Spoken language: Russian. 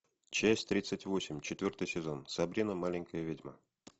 часть тридцать восемь четвертый сезон сабрина маленькая ведьма